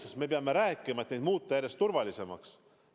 E-valimised tuleb muuta järjest turvalisemaks.